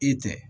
I tɛ